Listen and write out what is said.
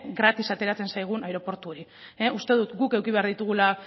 gratis ateratzen zaigun aireportu hori uste dut guk eduki behar ditugula